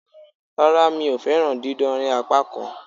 Rárá, mi o fẹ́ràn dídánrí apákan